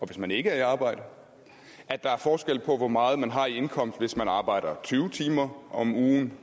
hvis man ikke er i arbejde at der er forskel på hvor meget man har i indkomst hvis man arbejder tyve timer om ugen